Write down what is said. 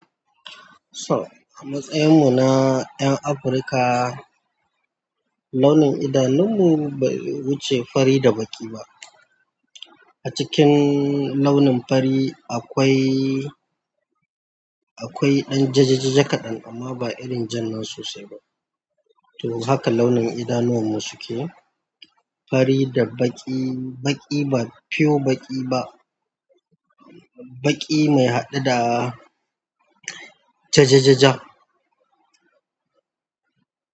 So, a matsayin mu na 'yan Afirka launin idanun mu bai wuce fari da baƙi ba. Acikin launin fari akwai dan jajjaja kaɗan to, haka launin idanun wan mu suke fari da baƙi, baƙi ba pure baƙi ba, baƙi mai haɗe da jajajaja.